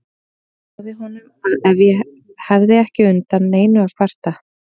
Ég sagði honum að ég hefði ekki undan neinu að kvarta.